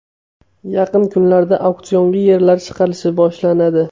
Yaqin kunlarda auksionga yerlar chiqarilishi boshlanadi.